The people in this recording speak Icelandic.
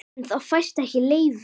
En það fæst ekki leyfi.